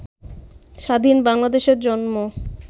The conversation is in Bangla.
স্বাধীন বাংলাদেশের জন্ম